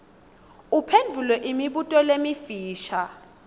uphendvule imibuto lemifisha